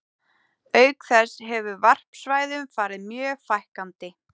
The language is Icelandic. Auk þess hefur varpsvæðum farið mjög fækkandi.